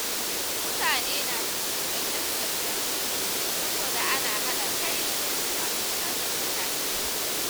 Mutane na jin tsoron ƴan sanda saboda ana haɗa kai da su a cutar da mutane.